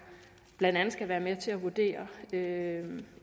blandt andet skal være med til at vurdere ægtheden